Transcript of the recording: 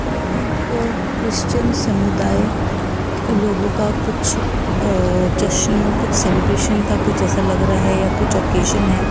ये एक अ क्रिस्चियन समुदाय लोगों का कुछ अ जश्न कुछ सेलिब्रेशन का कुछ ऐसा लग रहा है या कुछ ओकेजन है।